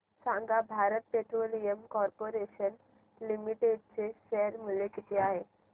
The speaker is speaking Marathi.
सांगा भारत पेट्रोलियम कॉर्पोरेशन लिमिटेड चे शेअर मूल्य किती आहे